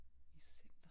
I center